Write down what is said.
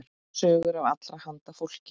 Sögur af allra handa fólki.